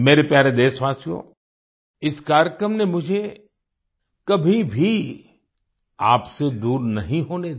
मेरे प्यारे देशवासियो इस कार्यक्रम ने मुझे कभी भी आपसे दूर नहीं होने दिया